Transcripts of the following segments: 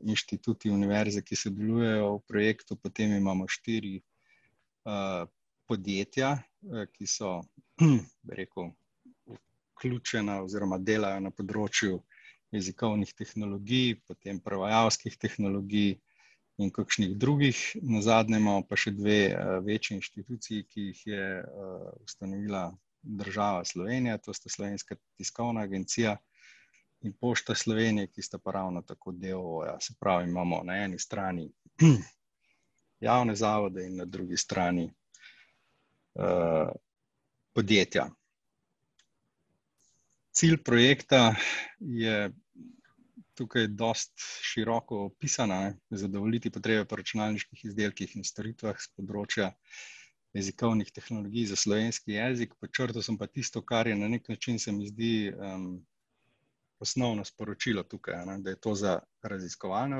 inštituti, univerze, ki sodelujejo v projektu, potem imamo štiri, podjetja, ki so, bi rekel, vključena oziroma delajo na področju jezikovnih tehnologij, potem prevajalskih tehnologij in kakšnih drugih. Nazadnje imamo pa še dve večji inštituciji, ki jih je, ustanovila država Slovenija, to sta Slovenska tiskovna agencija in Pošta Slovenije, ki sta pa ravno tako del, se pravi, imamo na eni strani, javne zavode in na drugi strani, podjetja. Cilj projekta je tukaj dosti široko opisan, a ne, zadovoljiti potrebe po računalniških izdelkih in storitvah s področja jezikovnih tehnologij za slovenski jezik. Podčrtal sem pa tisto, kar je na neki način, se mi zdi, osnovno sporočilo tukaj, a ne, da je to za raziskovalne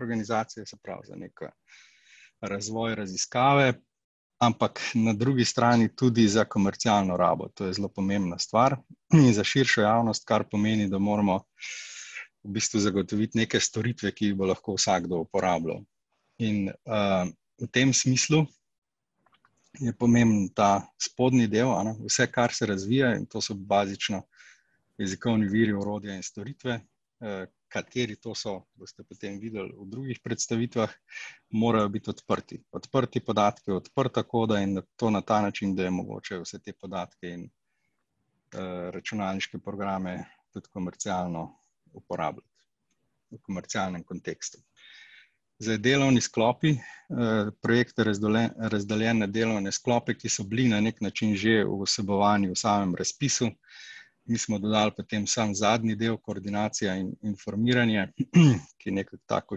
organizacije, se pravi za neki razvoj, raziskave, ampak na drugi strani tudi za komercialno rabo, to je zelo pomembna stvar in za širšo javnost, kar pomeni, da moramo v bistvu zagotoviti neke storitve, ki jih bo lahko vsakdo uporabljal. In, v tem smislu je pomemben ta spodnji del, a ne, vse, kar se razvija, in to so bazično jezikovni viri, orodja in storitve. kateri to so, boste potem videli v drugih predstavitvah. Morajo biti odprti. Odprti podatki, odprta koda in to na ta način, da je mogoče vse te podatke in, računalniške programe tudi komercialno uporabljati. V komercialnem kontekstu. Zdaj delovni izklopi ... projekt je razdolen, razdeljen na delovne sklope, ki so bili na neki način že vsebovani v samem razpisu, mi smo dodali potem samo zadnji del, koordinacija in informiranje, ki nekako tako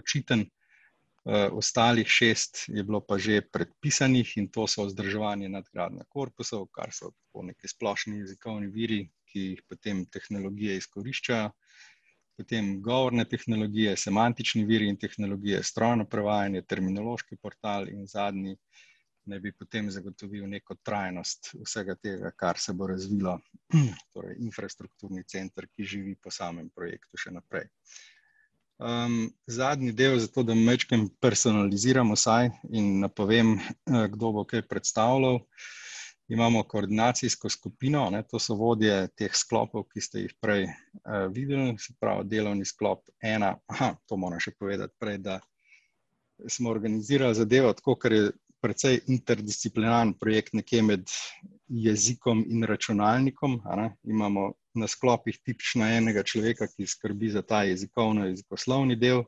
očiten, ostalih šest je bilo pa že predpisanih, in to so vzdrževanje, nadgradnja korpusov, kar so tako neki splošni jezikovni viri, ki jih potem tehnologije izkoriščajo. Potem govorne tehnologije, semantični viri in tehnologije, strojno prevajanje, terminološki portal in zadnji naj bi potem zagotovil neko trajnost vsega tega, kar se bo razvilo, torej infrastrukturni center, ki živi po samem projektu še naprej. zadnji del, zato da majčkeno personaliziram vsaj in napovem, kdo bo kaj predstavljal. Imamo koordinacijsko skupino, a ne, to so vodje teh sklopov, ki ste jih prej, videli, se pravi delovni sklop ena, to moram še povedati prej, da smo organizirali zadevo tako, ker je precej interdisciplinaren projekt nekje med jezikom in računalnikom, a ne, in imamo na sklopih tipično enega človeka, ki skrbi za ta jezikovno-jezikoslovni del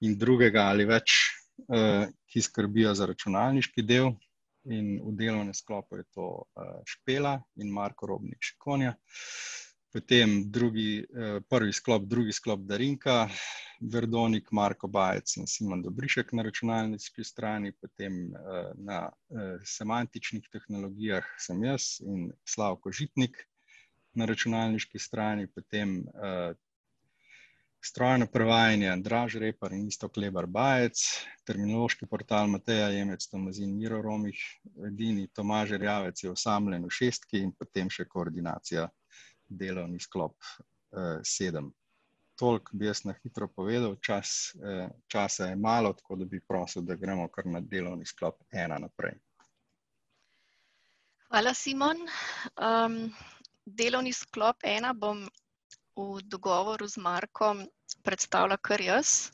in drugega ali več, ki skrbijo za računalniški del in v delovnem sklopu je to, Špela in Marko Robnik Šikonja. Potem drugi, prvi sklop, drugi sklop Darinka Verdonik, Marko Bajec in Simon Dobrišek na računalniški strani, potem, na, semantičnih tehnologijah sem jaz in Slavko Žitnik na računalniški strani, potem, strojno prevajanje Andraž Repar in Iztok Lebar Bajec, terminološki portal Mateja Jemec Tomazin, Miro Romih, edini Tomaž Erjavec je osamljen v šestki in potem še koordinacija delovni sklop, sedem. Toliko bi jaz na hitro povedal, čas, časa je malo, tako da bi prosil, da gremo kar na delovni sklop ena naprej. Hvala, Simon. delovni sklop ena bom v dogovoru z Markom predstavila kar jaz.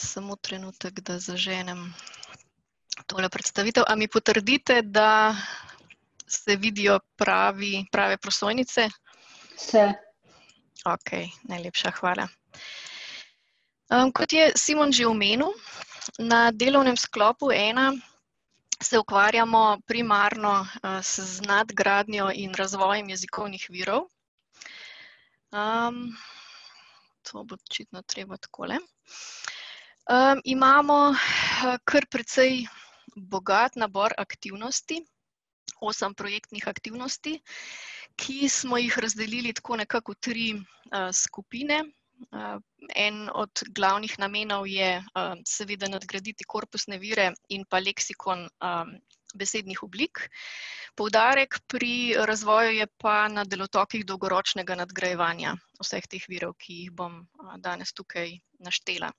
Samo trenutek, da zaženem tole predstavitev. A mi potrdite, da se vidijo pravi, prave prosojnice? Se. Okej, najlepša hvala. kot je Simon že omenil, na delovnem sklopu ena se ukvarjamo primarno s z nadgradnjo in razvojem jezikovnih virov. to bo očitno treba takole ... imamo kar precej bogat nabor aktivnosti, osem projektnih aktivnosti, ki smo jih razdelili tako nekako v tri, skupine. en od glavnih namenov je, seveda nadgraditi korpusne vire in pa leksikon, besednih oblik. Poudarek pri razvoju je pa na delotokih dolgoročnega nadgrajevanja vseh teh virov, ki jih bom, danes tukaj naštela.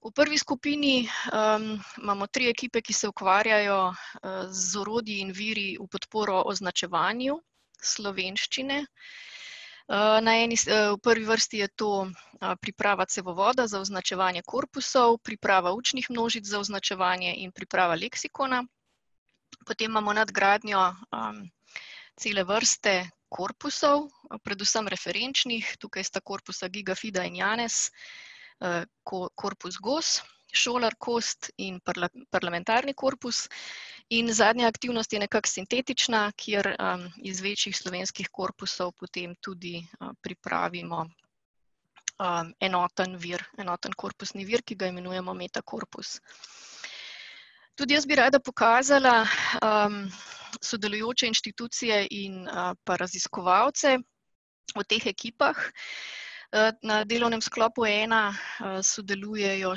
V prvi skupini, imamo tri ekipe, ki se ukvarjajo, z orodji in viri v podporo označevanju slovenščine. na eni v prvi vrsti je to, priprava cevovoda za označevanje korpusov, priprava učnih množic za označevanje in priprava leksikona. Potem imamo nadgradnjo, cele vrste korpusov, predvsem referenčnih, tukaj sta korpusa Gigafida in Janes, korpus Gos, Šolar, Kost in parlamentarni korpus in zadnja aktivnost je nekako sintetična, kjer, iz večjih slovenskih korpusov potem tudi pripravimo, enoten vir, enoten korpusni vir, ki ga imenujemo metakorpus. Tudi jaz bi rada pokazala, sodelujoče inštitucije in pa raziskovalce. V teh ekipah, na delovnem sklopu ena sodelujejo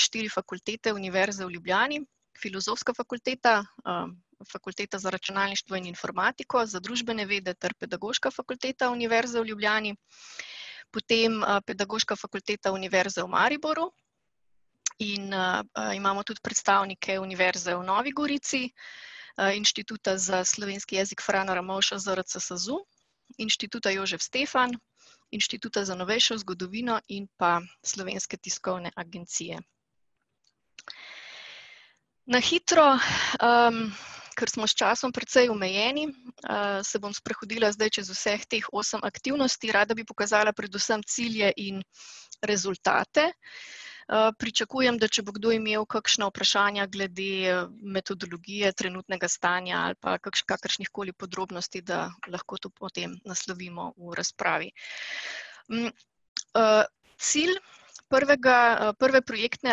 štiri fakultete Univerze v Ljubljani: Filozofska fakulteta, Fakulteta za računalništvo in informatiko, za družbene vede ter Pedagoška fakulteta Univerze v Ljubljani. Potem, Pedagoška fakulteta Univerze v Mariboru in, imamo tudi predstavnike Univerze v Novi Gorici, Inštituta za slovenski jezik Frana Ramovša ZRC SAZU, Inštituta Jožef Stefan, Inštituta za novejšo zgodovino in pa Slovenske tiskovne agencije. Na hitro, ker smo s časom precej omejeni, se bom sprehodila zdaj čez vseh teh osem aktivnosti, rada bi pokazala predvsem cilje in rezultate. pričakujem, da če bo kdo imel kakšna vprašanja glede metodologije trenutnega stanja, ali pa kakršnih koli podrobnosti, da lahko to potem naslovimo v razpravi. Cilj prvega, prve projektne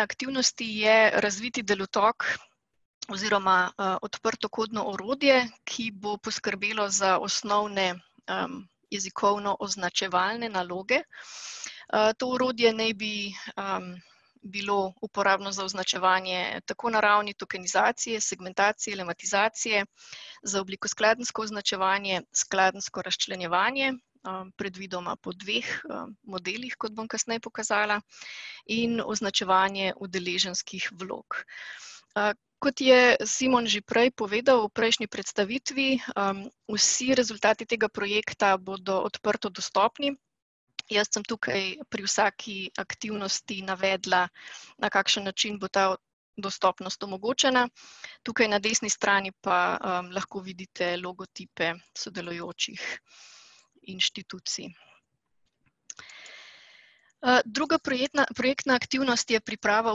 aktivnosti je razviti delotok oziroma, odprtokodno orodje, ki bo poskrbelo za osnovne, jezikovnooznačevalne naloge. to orodje ne bi, bilo uporabno za označevanje tako na ravni tokenizacije, segmentacje, lematizacije, za oblikoskladenjsko označevanje, skladenjsko razčlenjevanje, predvidoma po dveh, modelih, kot bom kasneje pokazala, in označevanje udeleženskih vlog. kot je Simon že prej povedal v prejšnji predstavitvi, vsi rezultati tega projekta bodo odprtodostopni. Jaz sem tukaj pri vsaki aktivnosti navedla, na kakšen način bo ta dostopnost omogočena, tukaj na desni strani pa, lahko vidite logotipe sodelujočih inštitucij. druga projetna, projektna aktivnost je priprava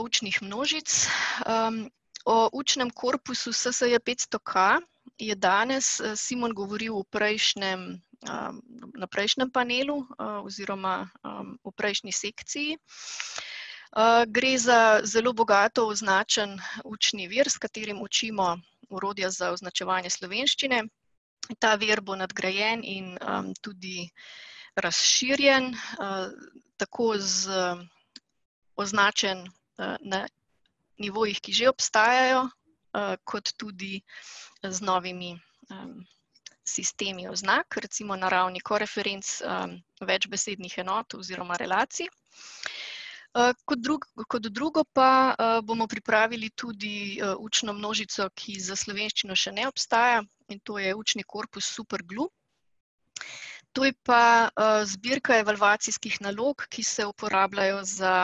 učnih množic, O učnem korpusu SSJpetstoK je danes Simon govoril v prejšnjem, na prejšnjem panelu, oziroma, v prejšnji sekciji. gre za zelo bogato označen učni vir, s katerim učimo orodja za označevanje slovenščine. Ta vir bo nadgrajen in, tudi razširjen. tako z označen, na nivojih, ki že obstajajo. kot tudi z novimi sistemi oznak. Recimo na ravni koreferenc, večbesednih enot oziroma relacij. kot drug, kot drugo pa, bomo pripravili tudi, učno množico, ki za slovenščino še ne obstaja in to je učni korpus Super Glu. To je pa, zbirka evalvacijskih nalog, ki se uporabljajo za,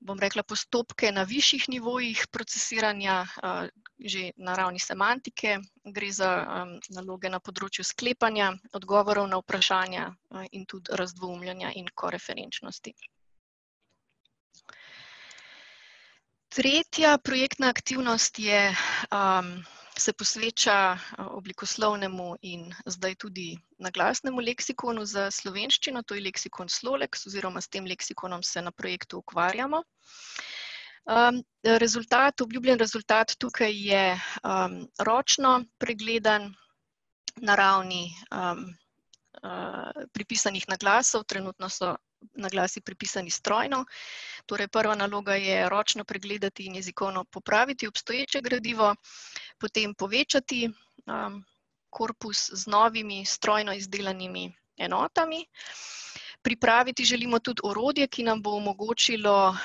bom rekla, postopke na višjih nivojih procesiranja, že na ravni semantike. Gre za, naloge na področju sklepanja, odgovorov na vprašanja in tudi razdvoumljanja in koreferenčnosti. Tretja projektna aktivnost je, se posveča, oblikoslovnemu in zdaj tudi naglasnemu leksikonu za slovenščino, to je leksikon Sloleks, oziroma s tem leksikonom se na projektu ukvarjamo. rezultat, obljubljen rezultat tukaj je, ročno pregledan na ravni, pripisanih naglasov, trenutno so naglasi pripisani strojno. Torej prva naloga je ročno pregledati in jezikovno popraviti obstoječe gradivo, potem povečati, korpus z novimi, strojno izdelanimi enotami. Pripraviti želimo tudi orodje, ki nam bo omogočilo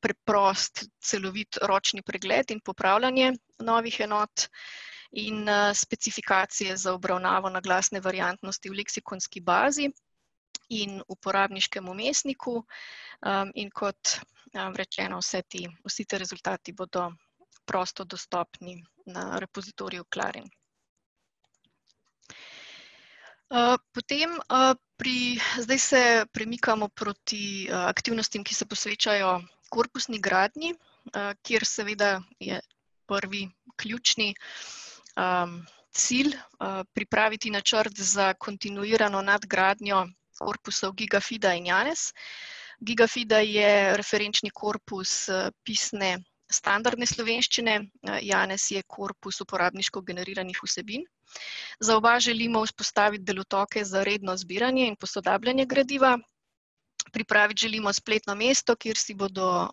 preprost, celovit ročni pregled in popravljanje novih enot in, specifikacije za obravnavo naglasne variantnosti v leksikonski bazi in uporabniškem vmesniku, in kot, rečeno, vse te, vsi te rezultati bodo prosto dostopni na repozitoriju Clarin. potem, pri, zdj se premikamo proti, aktivnostim, ki se posvečajo korpusni gradnji, kjer seveda je prvi, ključni, cilj, pripraviti načrt za kontinuirano nadgradnjo korpusov Gigafida in Janes. Gigafida je referenčni korpus, pisne standardne slovenščine, Janes je korpus uporabniško generiranih vsebin. Za oba želimo vzpostaviti delotoke za redno zbiranje in posodabljanje gradiva, pripraviti želimo spletno mesto, kjer si bodo,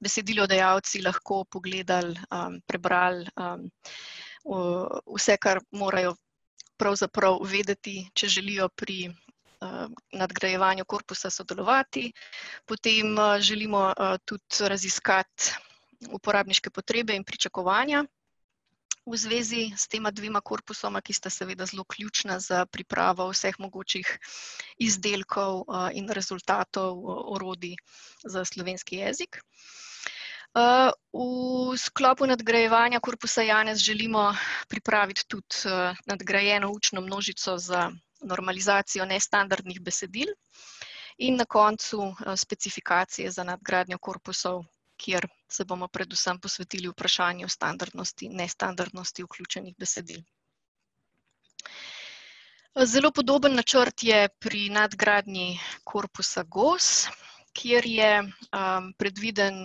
besedilodajalci lahko pogledali, prebrali, vse, kar morajo pravzaprav vedeti, če želijo pri, nadgrajevanju korpusa sodelovati. Potem, želimo tudi raziskati uporabniške potrebe in pričakovanja v zvezi s tema dvema korpusoma, ki sta seveda zelo ključna za pripravo vseh mogočih izdelkov, in rezultatov, orodij za slovenski jezik. v sklopu nadgrajevanja korpusa Janes želimo pripraviti tudi nadgrajeno učno množico za normalizacijo nestandardnih besedil in na koncu specifikacije za nadgradnjo korpusov, kjer se bomo predvsem posvetili vprašanju standardnosti, nestandardnosti vključenih besedil. Zelo podoben načrt je pri nadgradnji korpusa Gos, kjer je, predviden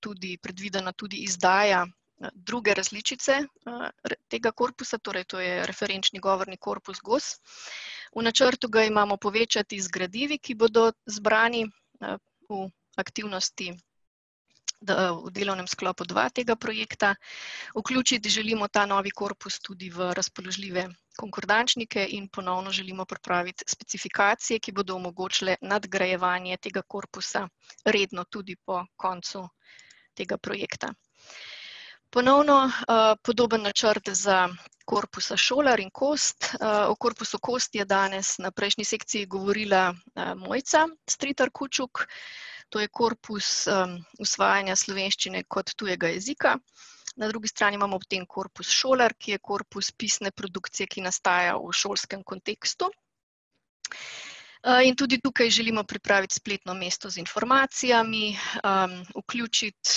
tudi, predvidena tudi izdaja druge različice, tega korpusa, torej to je referenčni govorni korpus Gos. V načrtu ga imamo povečati z gradivi, ki bodo zbrani, v aktivnosti v delovnem sklopu dva tega projekta. Vključiti želimo ta novi korpus tudi v razpoložljive konkordančnike in ponovno želimo pripraviti specifikacije, ki bodo omogočile nadgrajevanje tega korpusa redno, tudi po koncu tega projekta. Ponovno, podoben načrt za korpusa Šolar in Kost. o korpusu Kost je danes na prejšnji sekciji govorila Mojca Stritar Kučuk. To je korpus, usvajanja slovenščine kot tujega jezika. Na drugi strani imamo potem korpus Šolar, ki je korpus pisne produkcije, ki nastaja v šolskem kontekstu. in tudi tukaj želimo pripraviti spletno mesto z informacijami, vključiti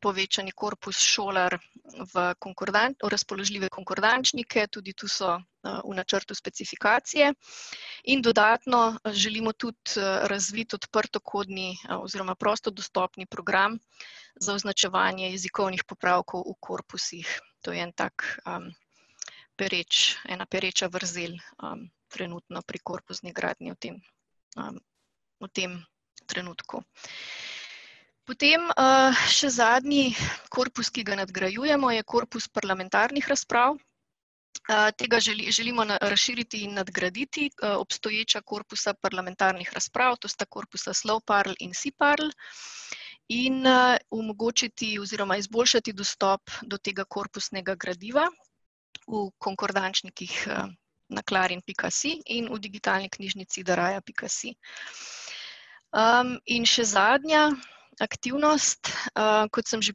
povečani korpus Šolar v v razpoložljive konkordančnike, tudi tu so, v načrtu specifikacije in dodatno želimo tudi razviti odprtokodni, oziroma prostodostopni program za označevanje jezikovnih popravkov v korpusih. To je en tak, pereč, ena pereča vrzel, trenutno pri korpusni gradnji, v tem, v tem trenutku. Potem, še zadnji korpus, ki ga nadgrajujemo, je korpus parlamentarnih razprav. tega želimo razširiti in nadgraditi, obstoječa korpusa parlamentarnih razprav, to sta korpusa Slovparl in Siparl, in omogočiti oziroma izboljšati dostop do tega korpusnega gradiva v konkordančnikih, na clarin pika si in v digitalni knjižnici dariah pika si. in še zadnja aktivnost, kot sem že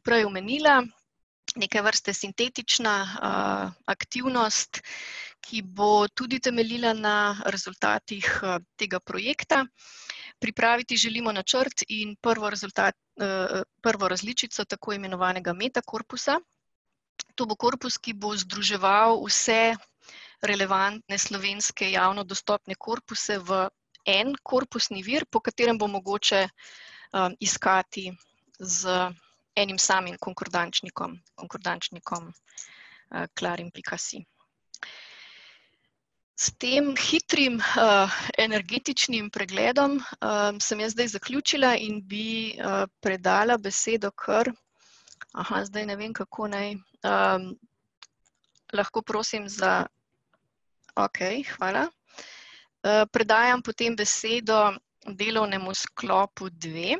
prej omenila, neke vrste sintetična, aktivnost, ki bo tudi temeljila na rezultatih tega projekta. Pripraviti želimo načrt in prvo rezultat, prvo različico tako imenovanega metakorpusa. To bo korpus, ki bo združeval vse relevantne slovenske javno dostopne korpuse v en korpusni vir, po katerem bo mogoče, iskati z enim samim konkordančnikom, konkordančnikom, clarin pika si. S tem hitrim, energetičnim pregledom, sem jaz zdaj zaključila in bi, predala besedo kar ... zdaj ne vem, kako naj, lahko prosim za ... okej, hvala. predajam potem besedo delovnemu sklopu dve.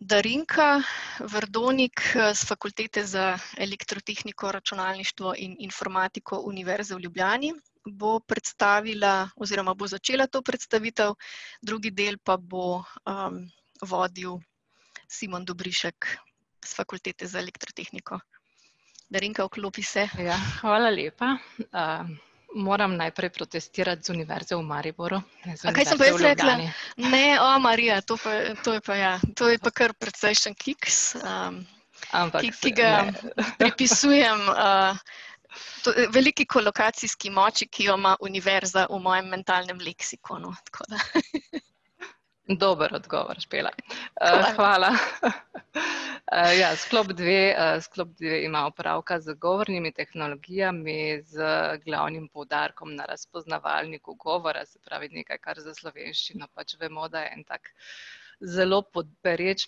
Darinka Verdonik, s Fakultete za elektrotehniko, računalništvo in informatiko Univerze v Ljubljani, bo predstavila oziroma bo začela to predstavitev, drugi del pa bo, vodil Simon Dobrišek s Fakultete za elektrotehniko. Darinka, vklopi se. Ja, hvala lepa. moram najprej protestirati: z Univerze v Mariboru in ne Univerze v Ljubljani. Kaj sem pa jaz rekla? Ne, o Marija, to pa, to je pa, ja, to je pa kar precejšen kiks, ki pa ga pripisujem, veliki kolokacijski moči, ki jo ima univerza v mojem mentalnem leksikonu, tako da ... Dober odgovor, Špela, hvala, . ja, sklop dve, sklop dve ima opravka z govornimi tehnologijami z glavnim poudarkom na razpoznavalniku govora, se pravi, nekaj, kar za slovenščino pač vemo, da je en tak zelo pereč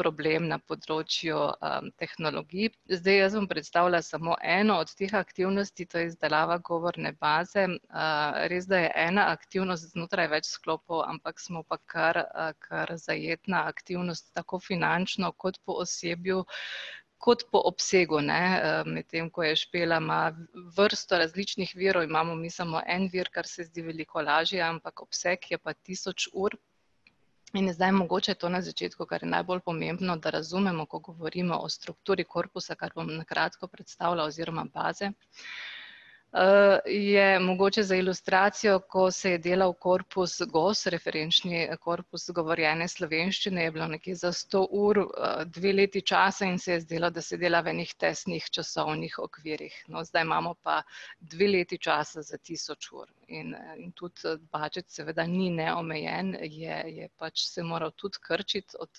problem na področju, tehnologij. Zdaj jaz bom predstavila samo eno od teh aktivnosti, to je izdelava govorne baze. res da je ena aktivnost znotraj več sklopov, ampak smo pa kar, kar zajetna aktivnost tako finančno, kot po osebju kot po obsegu, ne, medtem ko je Špela ima vrsto različnih virov, imamo mi samo en vir, kar se zdi veliko lažje, ampak obseg je pa tisoč ur. In zdaj mogoče to na začetku, kar je najbolj pomembno, da razumemo, ko govorimo o strukturi korpusa, kar bom na kratko predstavila oziroma baze. je mogoče za ilustracijo, ko se je delal korpus Gos, referenčni korpus govorjene slovenščine, je bilo nekje za sto ur dve leti časa in se je zdelo, da se dela v nekih tesnih časovnih okvirjih. No, zdaj imamo pa dve leti časa za tisoč ur in, in tudi budget seveda ni neomejen, je, je pač se moral tudi krčiti od,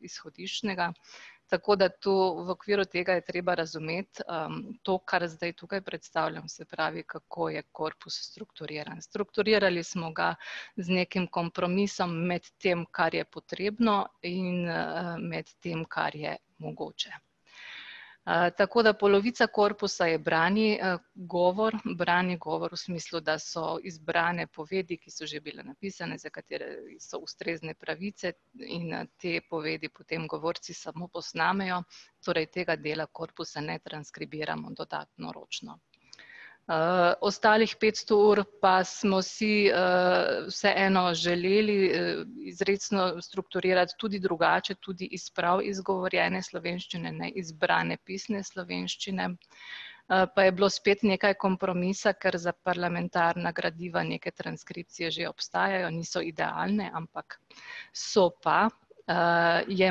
izhodiščnega, tako da to, v okviru tega je treba razumeti, to kar zdaj tukaj predstavljam, se pravi, kako je korpus strukturiran. Strukturirali smo ga z nekim kompromisom med tem, kar je potrebno, in med tem, kar je, mogoče. Tako da polovica korpusa je brani, govor, brani govor v smislu, da so izbrane povedi, ki so že bile napisane, za katere so ustrezne pravice, in, te povedi potem govorci samo posnamejo, torej tega dela korpusa ne transkribiramo dodatno ročno. ostalih petsto ur pa smo si, vseeno želeli, izrecno strukturirati tudi drugače, tudi iz prav izgovorjene slovenščine ne iz brane, pisne slovenščine, pa je bilo spet nekaj kompromisa, ker za parlamentarna gradiva neke transkripcije že obstajajo, niso idealne, ampak ... so pa. je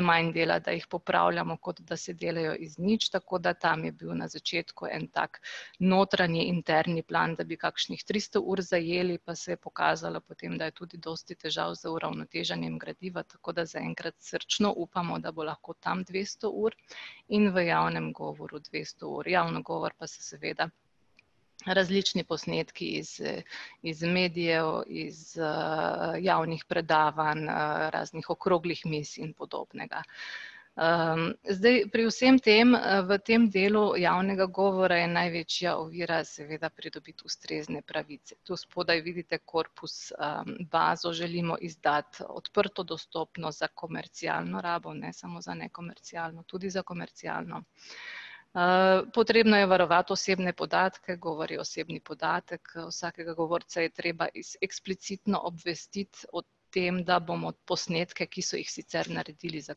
manj dela, da jih popravljamo, kot da se delajo iz nič, tako da tam je bil na začetku en tak notranji interni plan, da bi kakšnih tristo ur zajeli, pa se je pokazalo potem, da je tudi dosti težav z uravnoteženjem gradiva, tako da zaenkrat srčno upamo, da bo lahko tam dvesto ur in v javnem govoru dvesto ur. Javni govor pa se seveda različni posnetki iz, iz medijev, iz, javnih predavanj, raznih okroglih miz in podobnega. zdaj pri vsem tem v tem delu javnega govora je največja ovira seveda pridobiti ustrezne pravice. Tu spodaj vidite korpus, bazo želimo izdati odprtodostopno za komercialno rabo, ne samo za nekomercialno rabo, tudi za komercialno. potrebno je varovati osebne podatke, govori osebni podatek vsakega govorca je treba eksplicitno obvestiti o tem, da bomo posnetke, ki so jih sicer naredili za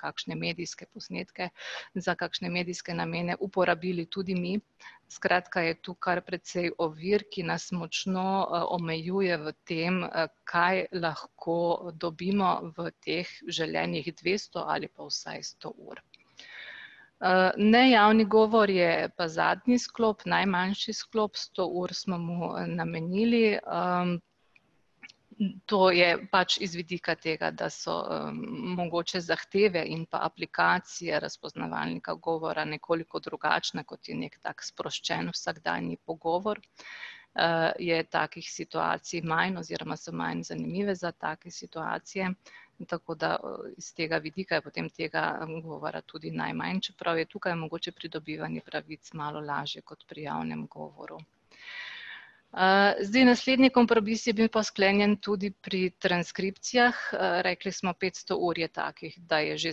kakšne medijske posnetke, za kakšne medijske namene, uporabili tudi mi, skratka, je to kar precej ovir, ki nas močno, omejuje v tem, kaj lahko dobimo v teh želenih dvesto ali pa vsaj sto ur. nejavni govor je pa zadnji sklop, najmanjši sklop, sto ur smo mu namenili, To je pač iz vidika tega, da so, mogoče zahteve in pa aplikacije razpoznavalnika govora nekoliko drugačne, kot je neki tak sproščen vsakdanji pogovor, je takih situacij manj oziroma so manj zanimive za take situacije, tako da iz tega vidika je potem tega govora tudi najmanj, čeprav je tukaj mogoče pridobivanje pravic malo lažje kot pri javnem govoru. zdaj naslednji kompromis je bil pa sklenjen tudi pri transkripcijah, rekli smo petsto ur je takih, da je že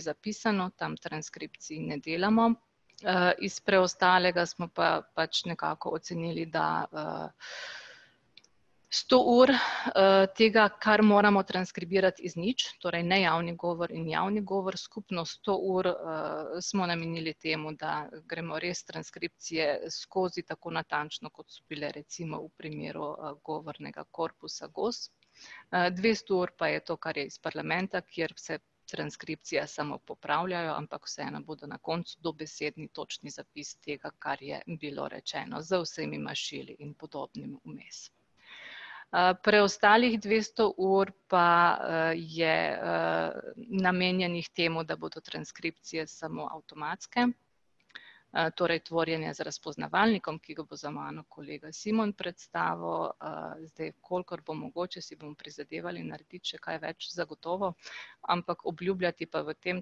zapisano, tam transkripcij ne delamo, iz preostalega smo pa pač nekako ocenili, da, sto ur, tega, kar moramo transkribirati iz nič, torej nejavni govor in javni govor skupno sto ur, smo namenili temu, da gremo res transkripcije skozi tako natančno, kot so bile recimo v primeru govornega korpusa Gos. dvesto ur pa je to kar je iz parlamenta, kjer se transkripcije samo popravljajo, ampak vseeno bodo na koncu dobesedni točni zapis tega, kar je bilo rečeno z vsemi mašili in podobnim vmes. preostalih dvesto ur pa, je, namenjenih temu, da bodo transkripcije samo avtomatske, torej tvorjene z razpoznavalnikom, ki ga bo za mano kolega Simon predstavil, zdaj kolikor bo mogoče, si bomo prizadevali narediti še kaj več zagotovo, ampak obljubljati pa v tem